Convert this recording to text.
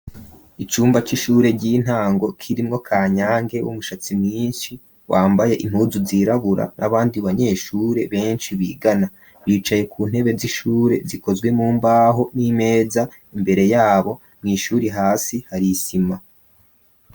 Icumba c'ishure ry'intango, kirimwo Kanyange w'umushatsi myinshi wambaye impuzu zirabura, n'abandi banyeshure benshi bigana, bicaye ku ntebe z'ishure, zikozwe mumbaho, n'imeza imbere yabo, mw'ishuri hasi hari isima.